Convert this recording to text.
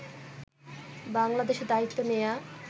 বাংলাদেশে দায়িত্ব নেয়া